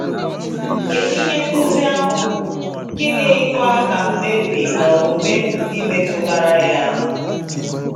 Kedu ihe nkuzi ahụ bụ, gịnịkwa ka mkpebi na omume ndụ gị metụtara ya?